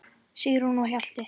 Sigrún og Hjalti.